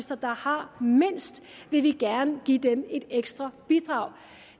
der har mindst vil vi gerne give et ekstra bidrag